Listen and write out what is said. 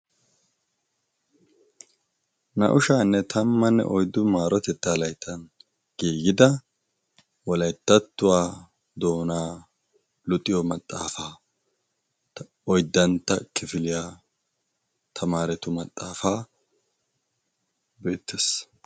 na7ushaanne tammanne oiddu maarotettaa laittan geeyida wolaittattuwaa doonaa luxiyo maxaafaa oiddantta kifiliyaa tamaaretu maxaafaa beettaes